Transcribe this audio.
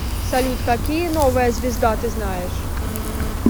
салют какие новая звезда ты знаешь